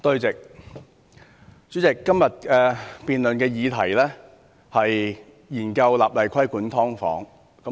主席，今天辯論的議題是研究立例規管"劏房"。